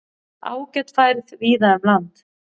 Ágæt færð víða um land